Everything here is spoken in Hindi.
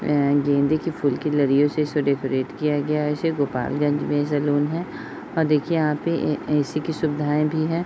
ए गेंदे के फूल लड़ियो से उसे डेकोरेट किया गया है। इसे गोपालगंज में ये सैलून है और देखिए यहाँ पे ए एसी की सुविधा भी है |